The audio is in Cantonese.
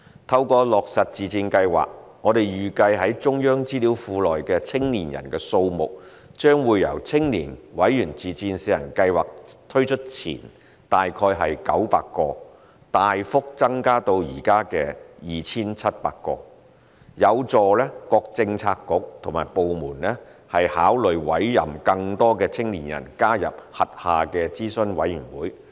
透過落實自薦計劃，我們預計中央資料庫內的青年人數目將由青年委員自薦試行計劃推出前大概900個，大幅增至現時約 2,700 個，有助各政策局和部門考慮委任更多青年人加入轄下的諮詢委員會。